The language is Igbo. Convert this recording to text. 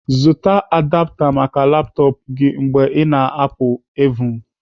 Zụta adapta maka laptọpụ gị mgbe ị na-apụ evhum